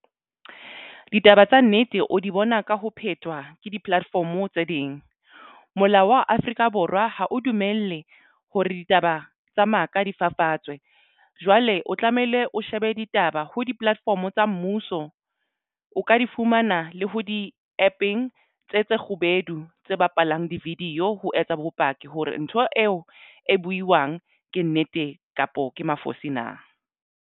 Ditaba tsa nnete o di bona ka ho phetwa ke di-platform tse ding molao wa Afrika Borwa ha o dumelle hore ditaba tsa maka difafatswe jwale o tlamehile o shebe ditaba ho di-platform tsa mmuso. O ka di fumana le ho di-APP-eng tse tse kgubedu tse bapalang di-video ho etsa bopaki hore ntho eo e buiwang ke nnete kapa ke mafosi na?